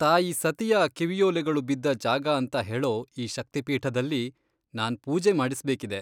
ತಾಯಿ ಸತಿಯ ಕಿವಿಯೋಲೆಗಳು ಬಿದ್ದ ಜಾಗ ಅಂತ ಹೇಳೋ ಈ ಶಕ್ತಿಪೀಠದಲ್ಲಿ ನಾನ್ ಪೂಜೆ ಮಾಡಿಸ್ಬೇಕಿದೆ.